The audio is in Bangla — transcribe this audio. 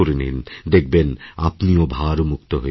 দেখবেন আপনিও ভারমুক্ত হয়ে যাবেন